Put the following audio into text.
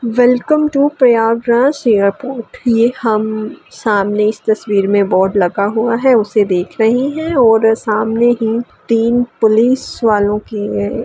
welcome to Prayagraj airport ये हम सामने इस तस्वीर में बोर्ड लगा हुआ है उसे देख रहे हैं और सामने ही तीन पुलिस वालों के --